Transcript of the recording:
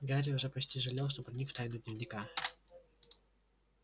гарри уже почти жалел что проник в тайну дневника